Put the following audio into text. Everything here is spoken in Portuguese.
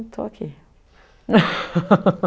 estou aqui